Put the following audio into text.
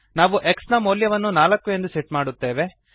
ನಾವು x ನ ಮೌಲ್ಯವನ್ನು 4 ಎಂದು ಸೆಟ್ ಮಾಡುತ್ತೇವೆ